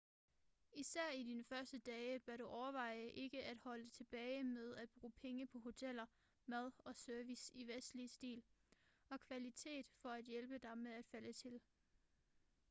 især i dine første dage bør du overveje ikke at holde tilbage med at bruge penge på hoteller mad og service i vestlig stil og kvalitet for at hjælpe dig med at falde til